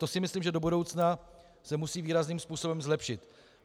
To si myslím, že do budoucna se musí výrazným způsobem zlepšit.